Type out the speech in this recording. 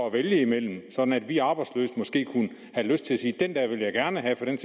at vælge imellem sådan at vi arbejdsløse måske kunne have lyst til at sige det her vil jeg gerne have for det